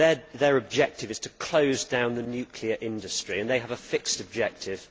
Their objective is to close down the nuclear industry and they have a fixed objective.